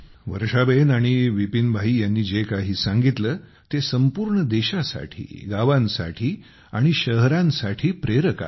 वर्षाबेन आणि विपीन भाई यांनी जे काही सांगितले ते संपूर्ण देशासाठी गावांसाठी आणि शहरांसाठी प्रेरक आहे